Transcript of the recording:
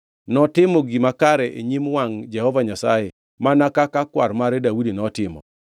Notimo gima kare e nyim wangʼ Jehova Nyasaye, mana kaka kwar mare Daudi notimo.